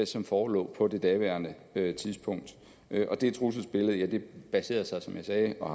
som forelå på daværende tidspunkt det trusselsbillede baserede sig som jeg sagde og